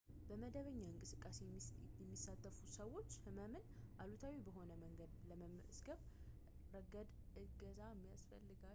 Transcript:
በመደበኛ እንቅስቃሴ የሚሳተፉ ሰዎች ሕመምን አሉታዊ በሆነ መንገድ በመገንዘብ ረገድ እገዛ የሚያስፈልጋቸው ሲሆን ይህም ለረጅም ጊዜ በቆየ ሕመምና ያለመመቸት ስሜትና በተለምዶ የአካል እንቅስቃሴ መካከል ያለውን ልዩነት ለመለየት ያስችላቸዋል